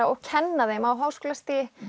og kenna þeim á háskólastigi